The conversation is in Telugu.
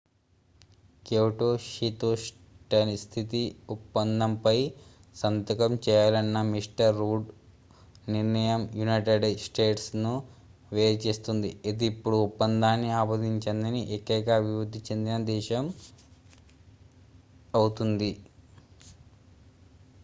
క్యోటో శీతోష్ణస్థితి ఒప్పందంపై సంతకం చేయాలన్న మిస్టర్ రూడ్ నిర్ణయం యునైటెడ్ స్టేట్స్ ను వేరుచేస్తుంది ఇది ఇప్పుడు ఒప్పందాన్ని ఆమోదించని ఏకైక అభివృద్ధి చెందిన దేశం అవుతుంది